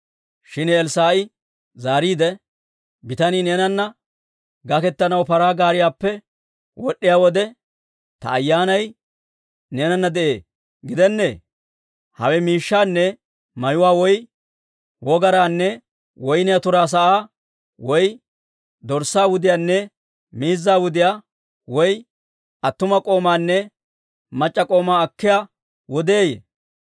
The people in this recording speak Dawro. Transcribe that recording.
Shin Elssaa'i zaariide, «Bitanii neenana gaketanaw paraa gaariyaappe wod'd'iyaa wode, ta ayyaanay neenana de'ee gidennee? Hawe miishshaanne mayuwaa, woy wogaraanne woyniyaa turaa sa'aa, woy dorssaa wudiyaanne miizzaa wudiyaa, woy attuma k'oomaanne mac'c'a k'oomaa akkiyaa wodeeyye?